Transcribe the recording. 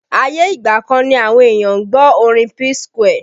Ayé ìgbà kan ni àwọn èèyàn ń gbọ́ orin P Square